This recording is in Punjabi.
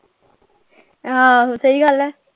ਆਹੋ ਸਹੀ ਗੱਲ ਹੈ।